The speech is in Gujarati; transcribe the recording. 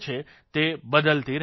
તે બદલતી રહે છે